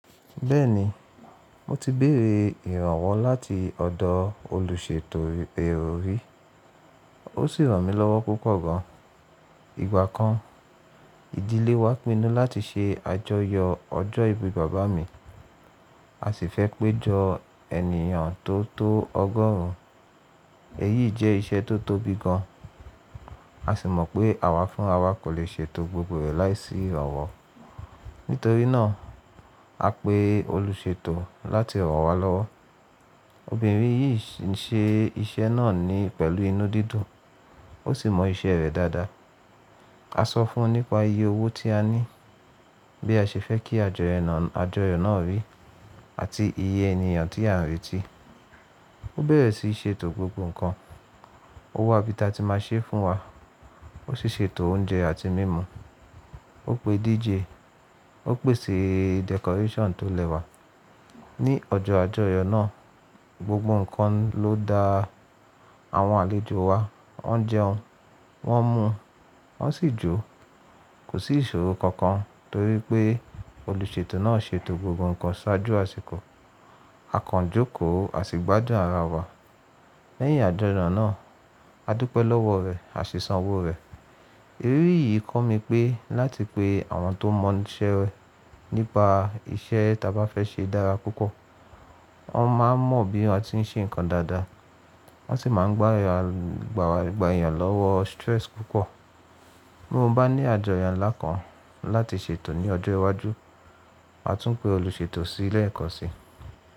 Bẹ́ẹ̀ni, mo ti béèrè ìrànwọ́ láti ọ̀dọ̀ olùṣètò èrò rí, ó sì ràn mí lọ́wọ́ púpọ̀ gan. Ìgbà kan, ìdílé wa pinnu láti ṣe àjọyọ̀ ọjọ́ ìbí bàbá mi, a sì fẹ́ pé jọ ènìyàn tó tó ọgọ́rùn. Èyí jẹ́ iṣẹ́ tó tóbi gan, a sì mọ̀ pé àwa fún àwa kò lè ṣètò gbogbo rẹ̀ láìsí ìrànwọ́. Nítorí náà, a pe olùṣètò láti ràn wá lọ́wọ́. Obìnrin yìí ń ṣe iṣẹ́ náà ni pẹ̀lú inú dídùn, ó sì mọ iṣẹ́ rẹ̀ dáadáa. Asọ́ fún nípa iye owó tí a ní, bí aṣe fẹ́ kí àjọyọ̀ ná rí, àti iye ènìyàn tí a rátì. Ó bẹ̀rẹ̀ sí sé ẹ̀tò gbogbo nkan, ó wá ibi ta tí ma sé fún wa, wọ́n sì sé ẹ̀tò oúnjẹ àti mímu. Wọ́n pe DJ, wọ́n pèsè decoration tó lẹ́wà. Ní ọjọ́ àjọyọ̀ náà, gbogbo nǹkan ló dá àwọn àlejò wa, wọ́n jẹun, wọ́n mu, wọ́n sì jó. Kò sí ìṣòro kankan torí pé olùṣètò náà ṣètò gbogbo nǹkan ṣáájú àsìkò. A kò jókò, a sì gbádùn ara wa lẹ́yìn àjọyọ̀ náà. A dúpẹ́ lọ́wọ́ rẹ̀, a sì san owó rẹ̀. Eré yìí kọ́ mi pé láti pé àwọn tó mọ iṣẹ́ rẹ̀ nípa iṣẹ́ ta bá fẹ́ ṣe dára púpọ̀, wọ́n máa mọ bí wọ́n ti ń ṣe nǹkan dáadáa, wọ́n sì máa gba èèyàn lọ́wọ́ stress púpọ̀. Bí mo bá ní àjọyọ̀ ńlá kan láti ṣètò ní ọjọ́ iwájú, màá tún pe olùṣètò sílé ẹ̀kọ̀sí.